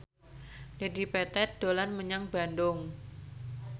Dedi Petet dolan menyang Bandung